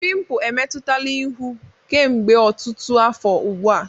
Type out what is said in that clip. Pimpụ emetụtala ihu kemgbe ọtụtụ afọ ugbu a.